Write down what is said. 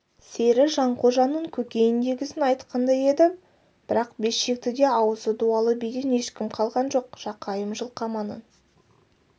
сері жанқожаның көкейіндегісін айтқандай еді бірақ бес шектіде ауызы дуалы биден ешкім қалған жоқ жақайым жылқаманның